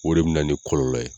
O de bɛ na ni kɔlɔlɔ ye.